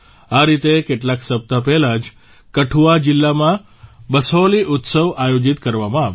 આ રીતે કેટલાક સપ્તાહ પહેલાં જ કઠુઆ જિલ્લામાં બસોહલી ઉત્સવ આયોજીત કરવામાં આવ્યો